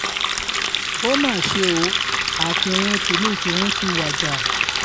ó mà ṣe o akinrun tílu ìkírùn ti wájà